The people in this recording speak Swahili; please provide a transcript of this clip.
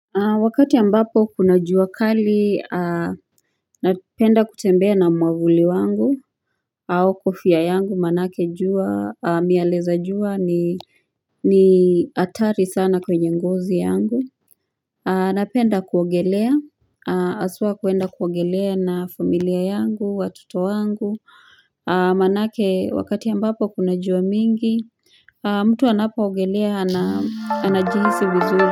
Wakati ambapo kuna jua kali napenda kutembea na mwavuli wangu au kofia yangu manake miale za jua ni atari sana kwenye ngozi yangu Napenda kuogelea aswa kuenda kuogelea na familia yangu watoto wangu manake wakati ambapo kuna jua mingi mtu anapoogelea anajihisi vizuri.